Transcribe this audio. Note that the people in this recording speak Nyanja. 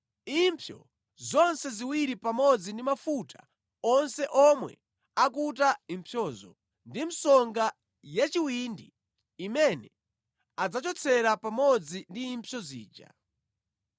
impsyo zonse ziwiri pamodzi ndi mafuta onse omwe akuta impsyozo ndi msonga ya chiwindi imene adzachotsera pamodzi ndi impsyo zija.